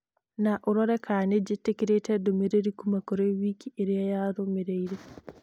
no ũrore kana nĩ ndetĩkĩrĩte ndũmĩrĩri kuuma kũrĩ wiki ĩrĩa yarũmĩrĩire